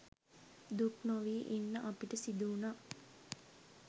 දුක්නොවී ඉන්න අපිට සිදු‍වුණා.